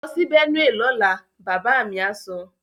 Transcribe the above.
Lọ sí Benue lọ́la! Bàbá mi á sọ.